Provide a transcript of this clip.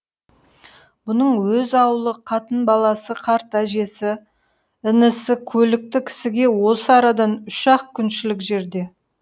бұның өз аулы қатын баласы қарт әжесі інісі көлікті кісіге осы арадан үш ақ күншілік жерде